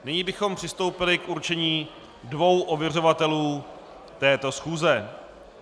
Nyní bychom přistoupili k určení dvou ověřovatelů této schůze.